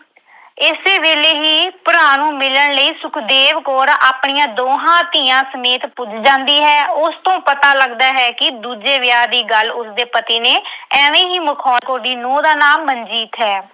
ਇਸੇ ਵੇਲੇ ਹੀ ਭਰਾ ਨੂੰ ਮਿਲਣ ਲਈ ਸੁਖਦੇਵ ਕੌਰ ਆਪਣੀਆਂ ਦੋਹਾਂ ਧੀਆਂ ਸਮੇਤ ਪੁੱਜ ਜਾਂਦੀ ਹੈ। ਉਸ ਤੋਂ ਪਤਾ ਲੱਗਦਾ ਹੈ ਕਿ ਦੂਜੇ ਵਿਆਹ ਦੀ ਗੱਲ ਉਸਦੇ ਪਤੀ ਨੇ ਐਵੇਂ ਹੀ ਮਖੌਲ ਅਹ ਦੀ ਨੂੰਹ ਦਾ ਨਾਂ ਮਨਜੀਤ ਹੈ